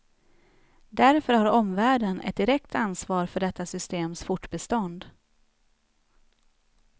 Därför har omvärlden ett direkt ansvar för detta systems fortbestånd.